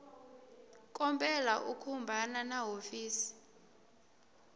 kombela u khumbana na hofisi